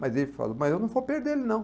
Mas ele falou, mas eu não vou perder ele, não.